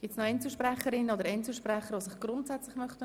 Wir sind am Ende der Fraktionsvoten.